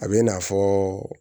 A bɛ i n'a fɔ